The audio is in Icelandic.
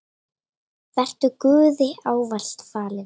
Vertu Guði ávallt falin.